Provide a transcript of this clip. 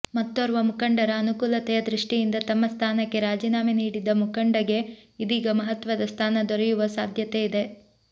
ಮತ್ತೋರ್ವ ಮುಖಂಡರ ಅನುಕೂಲತೆಯ ದೃಷ್ಟಿಯಿಂದ ತಮ್ಮ ಸ್ಥಾನಕ್ಕೆ ರಾಜೀನಾಮೆ ನೀಡಿದ್ದ ಮುಖಂಡಗೆ ಇದೀಗ ಮಹತ್ವದ ಸ್ಥಾನ ದೊರೆಯುವ ಸಾಧ್ಯತೆ ಇದೆ